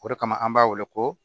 O de kama an b'a wele ko